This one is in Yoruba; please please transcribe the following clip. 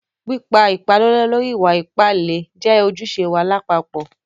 Pípà ìpàlọ̀lọ̀ lórí ìwà-ìpà ìlẹ̀ jẹ́ ojúṣẹ̀ wá làpapọ̀.